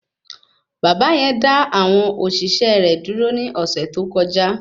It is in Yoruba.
Bàbá yẹn dá àwọn òṣìṣẹ́ rẹ dúró ní ọ̀sẹ̀ tó kọjá